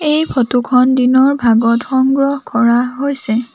এই ফটো খন দিনৰ ভাগত সংগ্ৰহ কৰা হৈছে।